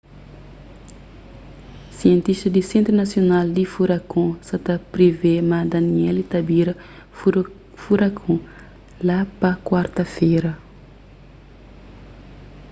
sientistas di sentru nasional di furakon sa ta privê ma danielle ta bira furakon la pa kuarta-fera